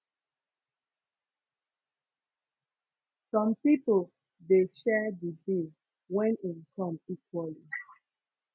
som pipo de share di bill wen in come equally